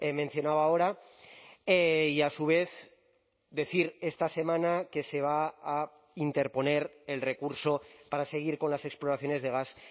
mencionaba ahora y a su vez decir esta semana que se va a interponer el recurso para seguir con las exploraciones de gas